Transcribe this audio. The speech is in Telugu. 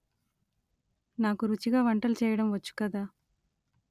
నాకు రుచిగా వంటలు చేయడం వచ్చు కదా